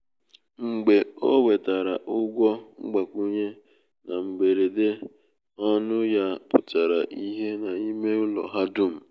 mgbe o nwetara ụgwọ mgbakwunye na mberede ọṅụ ya pụtara ìhè n’ime ụlọ ha dum.